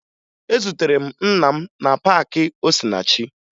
Ezutere m nna m na paakị Osinachi